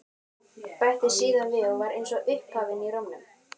Bætti síðan við og var eins og upphafin í rómnum: